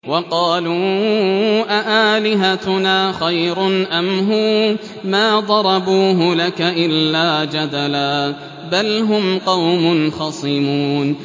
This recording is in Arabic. وَقَالُوا أَآلِهَتُنَا خَيْرٌ أَمْ هُوَ ۚ مَا ضَرَبُوهُ لَكَ إِلَّا جَدَلًا ۚ بَلْ هُمْ قَوْمٌ خَصِمُونَ